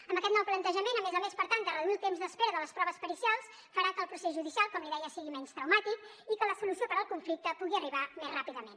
amb aquest nou plantejament a més a més per tal de reduir el temps d’espera de les proves pericials farà que el procés judicial com li deia sigui menys traumàtic i que la solució per al conflicte pugui arribar més ràpidament